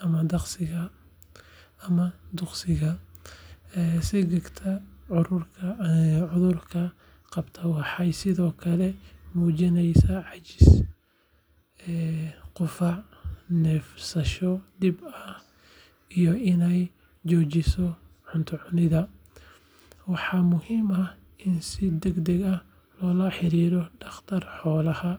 ama duqsiga. Digaagta cudurka qabta waxay sidoo kale muujisaa caajis, qufac, neefsasho dhib ah iyo inay joojiso cunto cunidda. Waxaa muhiim ah in si degdeg ah loola xiriiro dhakhtar xoolaha.